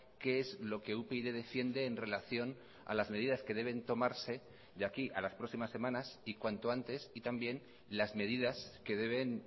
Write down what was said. qué es lo que upyd defiende en relación a las medidas que deben tomarse de aquí a las próximas semanas y cuanto antes y también las medidas que deben